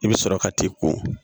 I bɛ sɔrɔ ka t'i ko